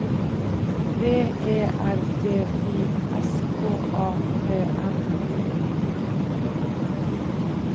V E R D I S K A P N I N G